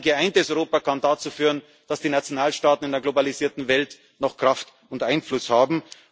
Nur ein geeintes Europa kann dazu führen, dass die Nationalstaaten in einer globalisierten Welt noch Kraft und Einfluss haben.